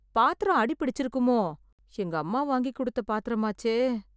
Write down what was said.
பாத்திரம் அடி பிடிச்சுருக்குமோ, எங்க அம்மா வாங்கி கொடுத்த பாத்திரமாச்சே.